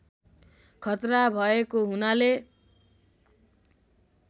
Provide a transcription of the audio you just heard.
खतरा भएको हुनाले